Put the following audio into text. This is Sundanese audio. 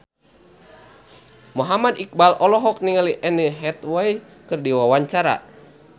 Muhammad Iqbal olohok ningali Anne Hathaway keur diwawancara